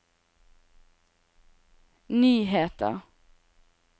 nyheter